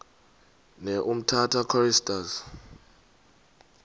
ne umtata choristers